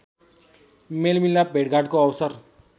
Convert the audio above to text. मेलमिलाप भेटघाटको अवसर